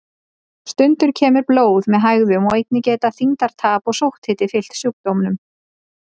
Stundum kemur blóð með hægðum og einnig geta þyngdartap og sótthiti fylgt sjúkdómnum.